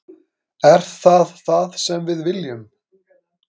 Er það það sem við viljum?